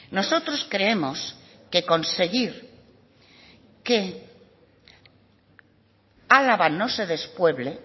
nosotros creemos que conseguir que álava no se despueble